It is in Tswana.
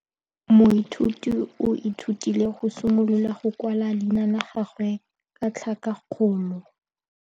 Moithuti o ithutile go simolola go kwala leina la gagwe ka tlhakakgolo.